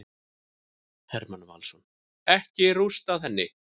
Hermann Valsson: Ekki rústað henni.